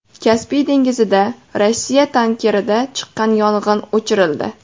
Kaspiy dengizida Rossiya tankerida chiqqan yong‘in o‘chirildi .